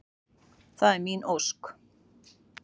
Það er mín ósk.